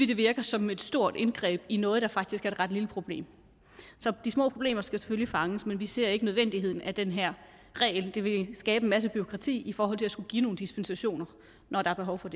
det virker som et stort indgreb i noget der faktisk er et ret lille problem så de små problemer skal selvfølgelig fanges men vi ser ikke nødvendigheden af den her regel det vil skabe en masse bureaukrati at skulle give nogle dispensationer når der er behov for